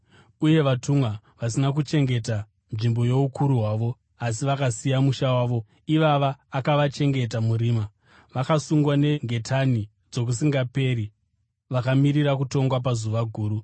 Uye vatumwa vasina kuchengeta nzvimbo youkuru hwavo asi vakasiya musha wavo, ivava akavachengeta murima, vakasungwa nengetani dzokusingaperi vakamirira kutongwa pazuva guru.